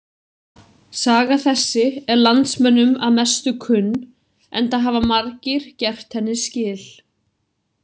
Saga þessi er landsmönnum að mestu kunn, enda hafa margir gert henni skil.